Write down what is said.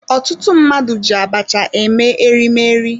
Ọtụtụ mmadụ ji abacha eme erimeri